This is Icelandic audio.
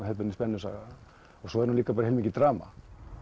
þetta spennusaga og svo er líka heilmikið drama